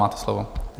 Máte slovo.